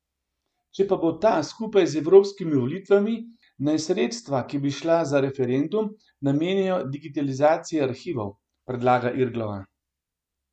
Če pa bo ta skupaj z evropskimi volitvami, naj sredstva, ki bi šla za referendum, namenijo digitalizaciji arhivov, predlaga Irglova.